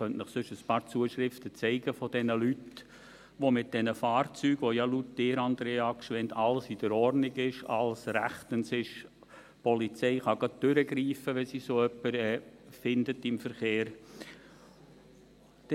Ich könnte Ihnen sonst ein paar Zuschriften von Leuten zeigen zu diesen Fahrzeugen, mit denen ja gemäss Ihnen, Andrea Gschwend, alles in Ordnung ist, alles rechtens ist und die Polizei gleich durchgreifen kann, wenn sie so jemanden im Verkehr findet.